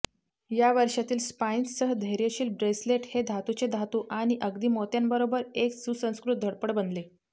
या वर्षातील स्पाईन्ससह धैर्यशील ब्रेसलेट हे धातूचे धातू आणि अगदी मोत्यांबरोबर एक सुसंस्कृत धडपड बनले